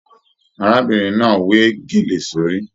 Arábìnrin náà we gélé sórí.